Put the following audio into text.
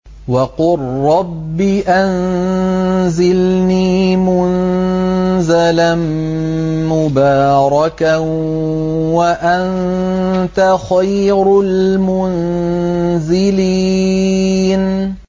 وَقُل رَّبِّ أَنزِلْنِي مُنزَلًا مُّبَارَكًا وَأَنتَ خَيْرُ الْمُنزِلِينَ